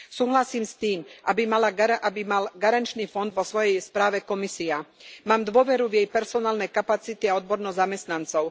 Súhlasím s tým, aby mala garančný fond vo svojej správe Komisia. Mám dôveru v jej personálne kapacity a odbornosť zamestnancov.